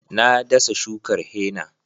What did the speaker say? Na dasa shukar henna